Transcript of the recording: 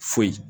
Foyi